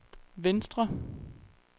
venstre